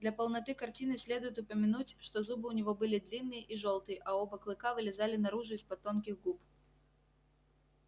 для полноты картины следует упомянуть что зубы у него были длинные и жёлтые а оба клыка вылезали наружу из под тонких губ